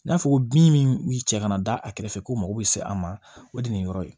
N'a fɔ ko bin min cɛ kana da a kɛrɛfɛ ko mako bɛ se an ma o de ye nin yɔrɔ ye